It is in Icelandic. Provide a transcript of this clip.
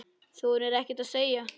Þorir ekkert að segja.